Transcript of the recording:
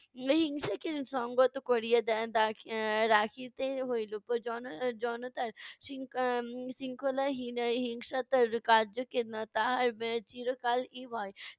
হিংসাকে সংগত করিয়া রাখিতে হইল জন~ এর জনতার শৃ~ এর উম শৃঙ্খলা হি~ হিংসাতার কার্যকে তাহার এর চিরকাল-ই ভয়